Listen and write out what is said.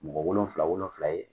Mɔgɔ wolonfila wolonfila ye.